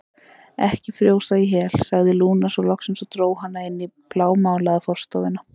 Ekki frjósa í hel, sagði Lúna svo loksins og dró hana inn í blámálaða forstofuna.